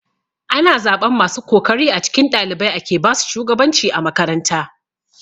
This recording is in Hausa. Ana zaɓan masu kokari a cikin ɗalibai ake basu shugabanci a makaranta.